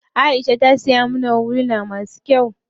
Aisha ta siya mana huluna masu kyau.